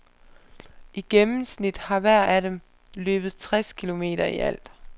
I gennemsnit har hver af dem løbet tres kilometer i alt.